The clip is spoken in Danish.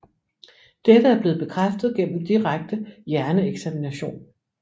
Dette er blevet bekræftet gennem direkte hjerneeksamination